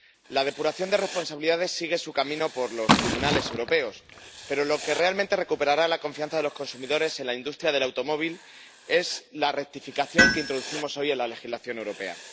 La depuración de responsabilidades sigue su camino por los tribunales europeos, pero lo que realmente recuperará la confianza de los consumidores en la industria del automóvil es la rectificación que introducimos hoy en la legislación europea.